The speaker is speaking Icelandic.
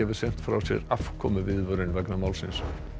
sent frá sér afkomuviðvörun vegna dómsins